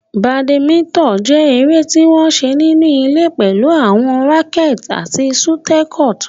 Badminton jẹ́ eré tí wọ́n ń ṣe nínú ilé pẹ̀lú àwọn rackets àti shuttlecock.